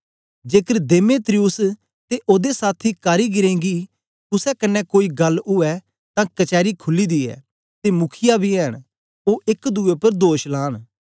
जेकर देमेत्रियुस ते ओदे साथी कारीगरें गी कुसे कन्ने कोई गल ऊऐ तां कचैरी खुली दी ऐ ते मुखीआ बी ऐंन ओ एक दुए उपर दोष लान